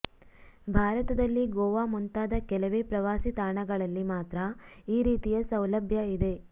ಭಾರತದಲ್ಲಿ ಗೋವಾ ಮುಂತಾದ ಕೆಲವೇ ಪ್ರವಾಸಿ ತಾಣಗಳಲ್ಲಿ ಮಾತ್ರ ಈ ರೀತಿಯ ಸೌಲಭ್ಯ ಇದೆ